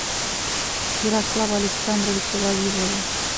ярослава александровича вавилова